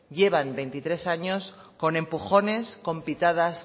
llevan veintitrés años con empujones con pitadas